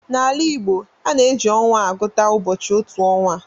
N'ala Igbo, a na-eji ọnwa agụta ụbọchị n'otu ọnwa